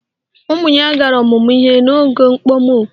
Ụmụ ya gara ọmụmụ ihe n'oge okpomọkụ